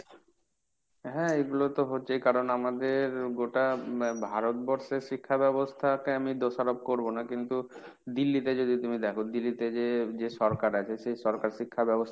হ্যাঁ এগুলো তো হচ্ছেই। কারণ আমাদের গোটা ভারতবর্ষের শিক্ষা ব্যবস্থাকে আমি দোষারোপ করব না। কিন্তু Delhi তে যদি তুমি দেখো Delhi তে যে, যে সরকার আছে সেই সব সরকার শিক্ষাব্যবস্থা